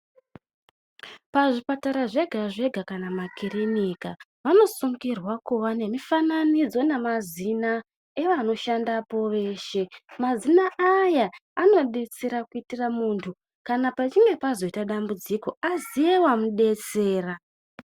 Pazvipatara zvega zvega kana makirinika vanosungirwa kuva nemifananidzo nemazina evanoshandapo veshe. Mazina aya anodetsera kuitira muntu kana pachinge pazoite dambudziko aziye wamudetsera.